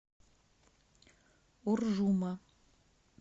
уржума